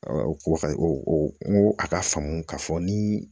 o ko o n ko a ka faamu ka fɔ ni